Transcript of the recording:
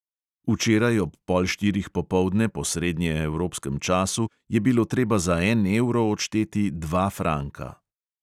Včeraj ob pol štirih popoldne po srednjeevropskem času je bilo treba za en evro odšteti dva franka.